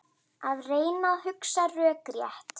Að reyna að hugsa rökrétt